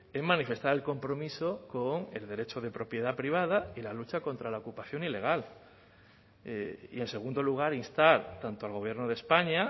en manifestar el compromiso con el derecho de propiedad privada y la lucha contra la ocupación ilegal y en segundo lugar instar tanto al gobierno de españa